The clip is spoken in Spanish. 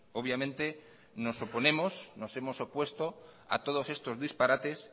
obviamente nos oponemos nos hemos opuesto a todos estos disparates